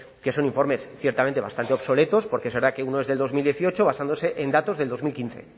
que son informes ciertamente bastante obsoletos porque es verdad que uno es del dos mil dieciocho basándose en datos del dos mil quince